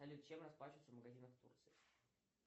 салют чем расплачиваются в магазинах турции